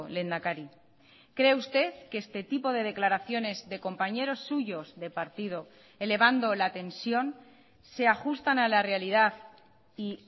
lehendakari cree usted que este tipo de declaraciones de compañeros suyos de partido elevando la tensión se ajustan a la realidad y